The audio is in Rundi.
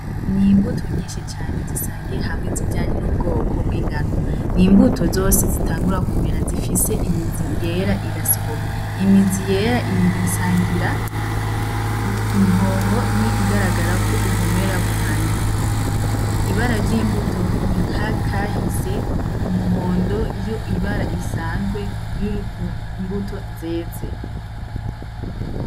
N'imbuto nyinshi cane zisangiye hamwe ibijanye n'ubwoko bw'ingano , n'imbuto zose zitangura kumera zifise imizi yera igasohoka , imizi yera igasangira inkonko nkiyigaragara ko ubumera butangiye . Ibara ry'imbuto ni nk'akahise umuhondo iyo ibara risanzwe riri ku mbuto nziza.